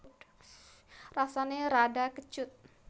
Rasané rada kecut